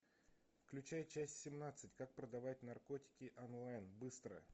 включай часть семнадцать как продавать наркотики онлайн быстро